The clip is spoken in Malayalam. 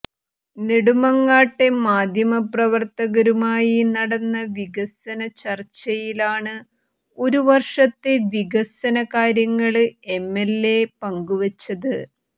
നെടുമങ്ങാട്ടെ മാധ്യമ പ്രവര്ത്തകരുമായി നടന്ന വികസന ചര്ച്ചയിലാണ് ഒരു വര്ഷത്തെ വികസന കാര്യങ്ങള് എംഎല്എ പങ്കുവെച്ചത്